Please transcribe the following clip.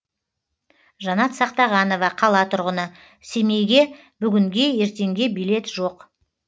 жанат сақтағанова қала тұрғыны семейге бүгінге ертеңге билет жоқ